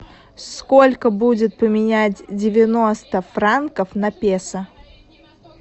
сколько будет поменять девяносто франков на песо